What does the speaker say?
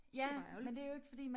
Det bare ærgerligt